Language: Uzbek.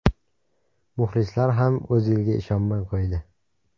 Muxlislar ham O‘zilga ishonmay qo‘ydi.